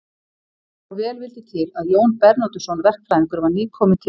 Svo vel vildi til að Jón Bernódusson verkfræðingur var nýkominn til